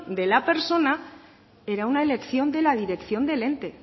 de la persona era una elección de la dirección del ente